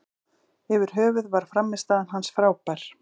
Yfir höfuð var frammistaða hans frábær.